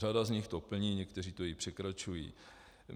Řada z nich to plní, některé to i překračují.